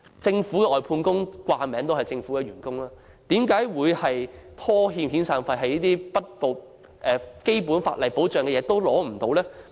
政府外判工人其實為政府工作，為何會被拖欠遣散費，得不到最基本的法例保障？